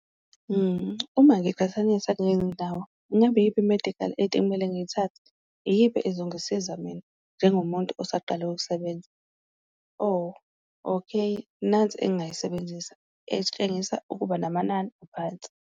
Uma ngiqhathanisa kule ndawo ngabe iyiphi i-medical aid ekumele ngiyithathe, iyiphi ezongisiza mina njengomuntu osaqala ukusebenza? Oh okay, nansi engayisebenzisa etshengisa ukuba namanani aphansi.